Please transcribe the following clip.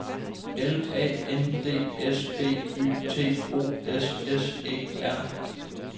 L A N D S B Y T O S S E R